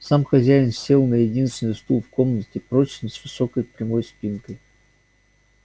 сам хозяин сел на единственный стул в комнате прочный с высокой прямой спинкой